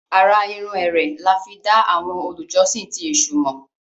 àrà-irun Ere là fí dá àwọn olùjọsìn ti èsù mọ.